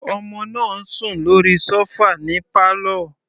Ọmọ náà ń sùn lórí sofa ní pálọ̀.